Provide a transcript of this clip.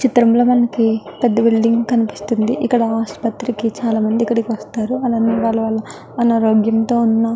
చిత్రం లో మనకి ఒక పెద్ద బిల్డింగ్ కనిపిస్తుంది ఇక్కడ ఆసుప్రతికి చాల మంది వస్తారు ఇక్కడ. అలానే వల్ల వల్ల అనారోగ్యంతో ఉన్న --